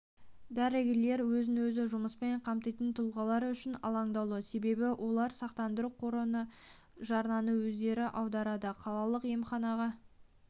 дәрігерлер өзін-өзі жұмыспен қамтитын тұлғалар үшін алаңдаулы себебі олар сақтандыру қорына жарнаны өздері аударады қалалық емханаға